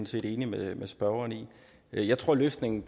set enig med spørgeren i jeg tror at løsningen